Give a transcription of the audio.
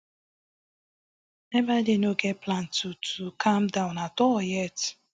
ebaide no get plan to to calm down at all yet